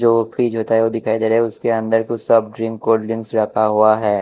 जो फ्रिज होता है वो दिखाई दे रहा है उसके अंदर कुछ सब ड्रिंक कोल्ड्रिंक्स रखा हुआ है।